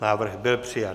Návrh byl přijat.